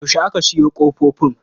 Yaushe aka sayo ƙofofin.